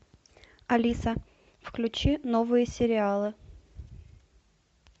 алиса включи новые сериалы